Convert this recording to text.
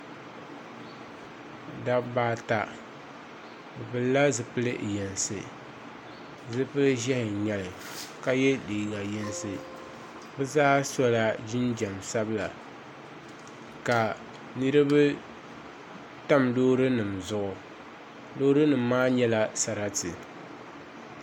Dabba ata bɛ pilila zupil' yinsi zupil' ʒɛhi n-nyɛ li ka ye liiga yinsi bɛ zaa so jinjam sabila ka niriba tam loori loorinima maa zaa nyɛla sarati